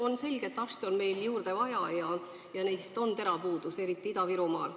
On selge, et arste on meil juurde vaja ja neist on puudus, eriti Ida-Virumaal.